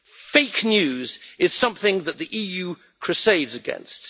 Fake news is something that the EU crusades against.